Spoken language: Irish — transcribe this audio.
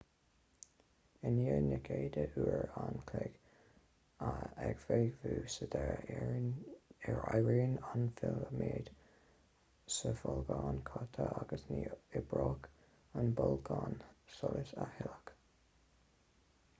i ndiaidh na gcéadta uair an chloig ag feidhmiú sa deireadh éiríonn an filiméad sa bholgán caite agus ní oibreoidh an bolgán solais a thuilleadh